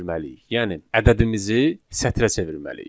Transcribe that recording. Yəni ədədimizi sətrə çevirməliyik.